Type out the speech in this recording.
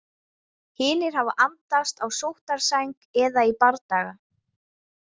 Hinir hafa andast á sóttarsæng eða í bardaga.